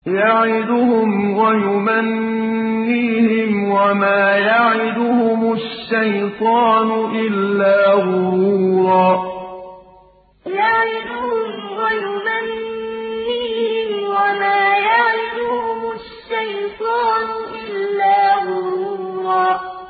يَعِدُهُمْ وَيُمَنِّيهِمْ ۖ وَمَا يَعِدُهُمُ الشَّيْطَانُ إِلَّا غُرُورًا يَعِدُهُمْ وَيُمَنِّيهِمْ ۖ وَمَا يَعِدُهُمُ الشَّيْطَانُ إِلَّا غُرُورًا